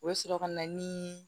U bɛ sɔrɔ ka na ni